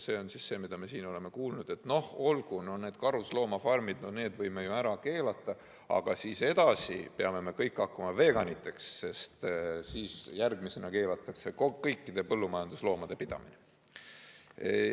Me oleme siin kuulnud, et olgu, need karusloomafarmid võime ju ära keelata, aga edasi peame kõik hakkama veganiteks, sest järgmisena keelatakse kõikide põllumajandusloomade pidamine.